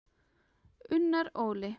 Unnar Óli.